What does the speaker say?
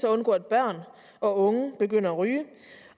undgå at børn og unge begynder at ryge